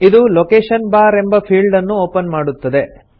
ಇದು location bar ಎಂಬ ಫೀಲ್ಡನ್ನು ಒಪನ್ ಮಾಡುತ್ತದೆ